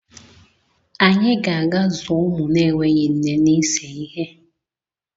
Anyị ga-aga zụọ ụmụ na-enweghị nne n'ise ihe.